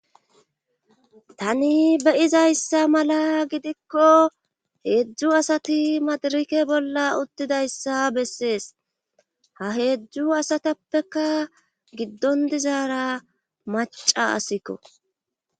tani beyizayssa mala gidikko heedzdzu asati madirike bolla uttidayssa bessees ha heedzdu asatappeka giddon dizaara maca asikko